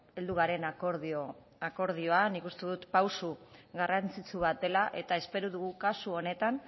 heldu garen akordioan nik uste dut pausu garrantzitsu bat dela eta espero dugu kasu honetan